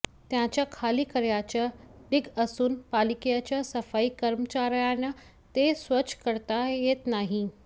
त्यांच्या खाली कचऱयाचे ढिग असून पालिकेच्या सफाई कर्मचाऱयांना ते स्वच्छ करता येत नाही